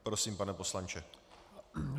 Prosím, pane poslanče.